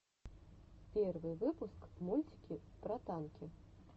первый выпуск мультики про танки